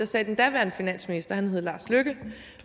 sagde den daværende finansminister og han havde lars løkke